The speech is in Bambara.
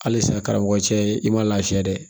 Halisa karamɔgɔ cɛ i ma lafiya dɛ